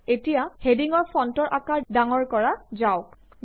এতিয়া হেডিংৰ ফন্টৰ আকাৰ ডাঙৰ কৰা যাওঁক